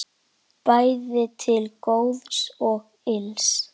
Bæði til góðs og ills.